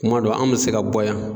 Kuma dɔ an bɛ se ka bɔ yan.